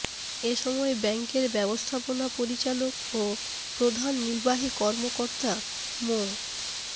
এ সময় ব্যাংকের ব্যবস্থাপনা পরিচালক ও প্রধান নির্বাহী কর্মকর্তা মো